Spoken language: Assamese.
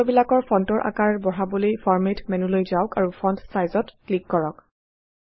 সূত্ৰবিলাকৰ ফন্টৰ আকাৰ বঢ়াবলৈ ফৰমাত মেন্যুলৈ যাওক আৰু ফন্ট Size ত ক্লিক কৰক